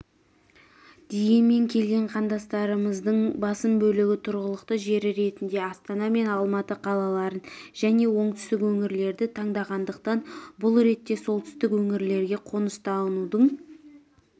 дегенмен келген қандастарымыздың басым бөлігі тұрғылықты жері ретінде астана мен алматы қалаларын және оңтүстік өңірлерді таңдағандықтан бұл ретте солтүстік өңірлерге қоныстанудың